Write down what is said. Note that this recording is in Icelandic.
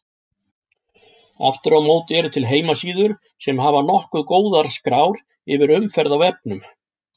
Aftur á móti eru til heimasíður sem hafa nokkuð góðar skrár yfir umferð á vefnum.